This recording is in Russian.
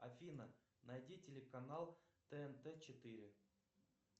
афина найди телеканал тнт четыре